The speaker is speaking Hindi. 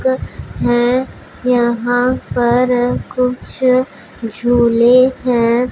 हैं यहां पर कुछ झूले हैं।